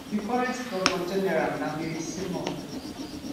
di current govnor general na mary simon